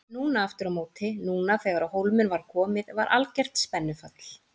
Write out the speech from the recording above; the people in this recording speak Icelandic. Núna aftur á móti, núna þegar á hólminn var komið var algert spennufall.